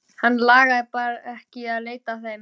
Hann lagði bara ekki í að leita að þeim.